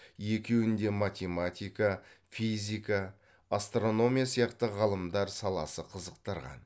екуін де математика физика астрономия сияқты ғылымдар саласы қызықтырған